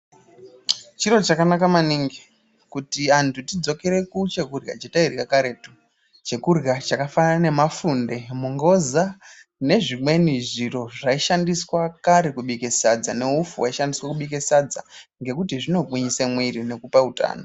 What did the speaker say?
Chiro chakanaka maningi kuti antu tidzokere ku chekurya chatairya karetu chekurya chaka fanana ne mafunde mungoza ne zvimweni zviro zvai shandiswa kare kubike sadza ne upfu wai shandiswa kubike sadza ngekuti zvino gwinyise mwiri nekupe utano.